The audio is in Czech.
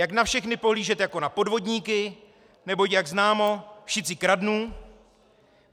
Jak na všechny pohlížet jako na podvodníky, neboť jak známo, všici kradnú.